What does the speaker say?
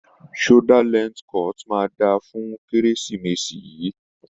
Shoulder length cut máa dáa fún Kérésìmesì yìí.